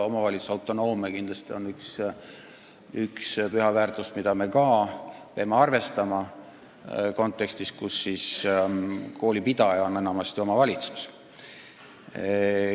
Omavalitsuste autonoomia on kindlasti püha väärtus, mida me peame arvestama ka selles kontekstis, et koolipidaja on enamasti omavalitsus.